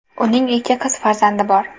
Uning ikki qiz farzandi bor.